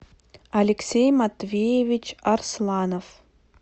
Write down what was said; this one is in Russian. алексей матвеевич арсланов